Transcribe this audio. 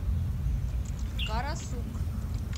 карасук